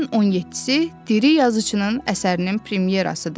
Ayın 17-si diri yazıçının əsərinin premyerasıdır.